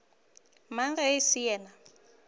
mang ge e se yena